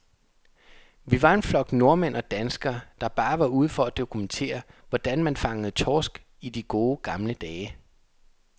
Vi var en flok nordmænd og danskere, der bare var ude for at dokumentere, hvordan man fangede torsk i de gode, gamle dage.